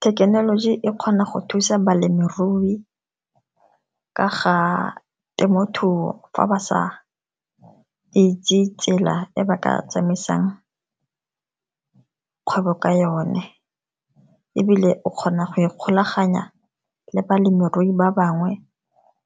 Thekenoloji e kgona go thusa balemirui ka ga temothuo fa ba sa itse tsela e ba ka tsamaisang kgwebo ka yone, ebile o kgona go ikgolaganya le balemirui ba bangwe